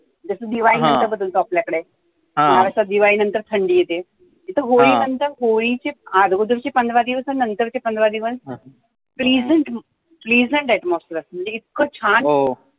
जसा दिवाळी नंतर बदलतो आपल्या कडे असं दिवाळी नंतर थंडी येते, इथे होळी नंतर होळीचे अगोदरचे पंधरा दिवस आणि नंतरचे पंधरा दिवस pleasant pleasant atmosphere असतं, म्हणजे इतकं छान वाटतं